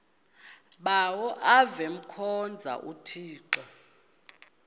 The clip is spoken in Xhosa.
bawo avemkhonza uthixo